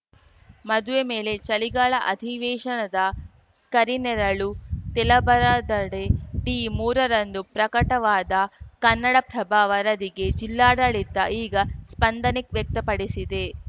ಮದುವೆ ಮೇಲೆ ಚಳಿಗಾಲ ಅಧಿವೇಶನದ ಕರಿನೆರಳು ತೆಲಬರದಡಿ ಡಿಮೂರ ರಂದು ಪ್ರಕಟವಾದ ಕನ್ನಡಪ್ರಭ ವರದಿಗೆ ಜಿಲ್ಲಾಡಳಿತ ಈಗ ಸ್ಪಂದನೆ ವ್ಯಕ್ತಪಡಿಸಿದೆ